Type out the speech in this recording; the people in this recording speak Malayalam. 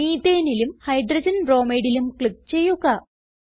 Methaneലും Hydrogen bromideലും ക്ലിക്ക് ചെയ്യുക